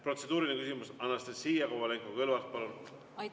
Protseduuriline küsimus, Anastassia Kovalenko-Kõlvart, palun!